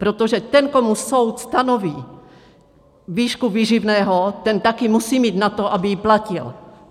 Protože ten, komu soud stanoví výšku výživného, ten taky musí mít na to, aby ji platil.